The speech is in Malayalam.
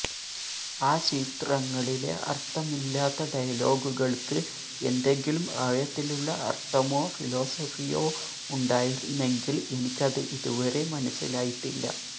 ആ ചിത്രങ്ങളിലെ അര്ത്ഥമില്ലാത്ത ഡയലോഗുകള്ക്ക് എന്തെങ്കിലും ആഴത്തിലുള്ള അര്ത്ഥമോ ഫിലോസഫിയോ ഉണ്ടായിരുന്നെങ്കില് എനിക്കത് ഇതുവരെ മനസിലായിട്ടില്ല